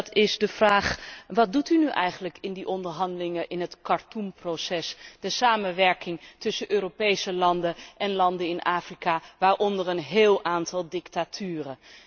Dit is de vraag wat doet u nu eigenlijk in die onderhandelingen in het Khartoum proces, de samenwerking tussen Europese landen en landen in Afrika waaronder een heel aantal dictaturen?